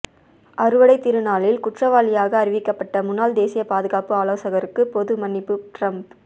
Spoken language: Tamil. அறுவடை திருநாளில் குற்றவாளியாக அறிவிக்கப்பட்ட முன்னாள் தேசிய பாதுகாப்பு ஆலோசகருக்கு பொது மன்னிப்பு டிரம்ப்